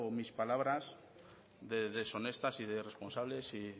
mis palabras de deshonestas y de irresponsable y